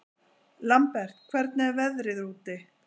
Lambert, hvernig er veðrið úti?